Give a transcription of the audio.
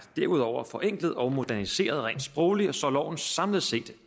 derudover forenklet og moderniseret rent sprogligt så loven samlet set